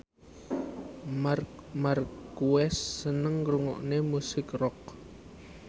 Marc Marquez seneng ngrungokne musik rock